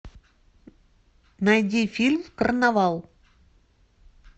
найди фильм карнавал